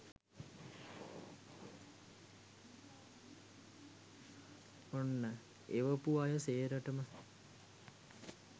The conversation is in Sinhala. ඔන්න එවපු අය සේරටම